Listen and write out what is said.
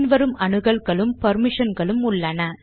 பின் வரும் அனுகல்களும் பெர்மிஷன்களும் உள்ளன